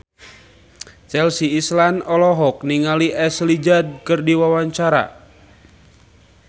Chelsea Islan olohok ningali Ashley Judd keur diwawancara